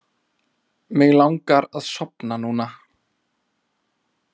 Mig langar að sofna núna.